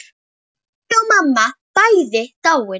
Pabbi og mamma bæði dáin.